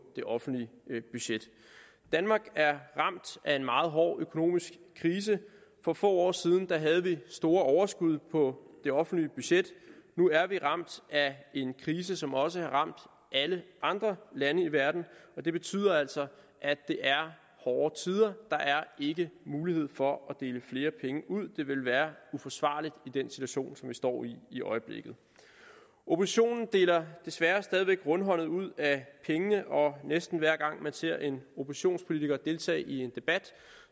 det offentlige budget danmark er ramt af en meget hård økonomisk krise for få år siden havde vi store overskud på det offentlige budget nu er vi ramt af en krise som også har ramt alle andre lande i verden og det betyder altså at det er hårde tider der er ikke mulighed for at give flere penge ud det vil være uforsvarligt i den situation som vi står i i øjeblikket oppositionen deler desværre stadig væk rundhåndet ud af pengene og næsten hver gang man ser en oppositionspolitiker deltage i en debat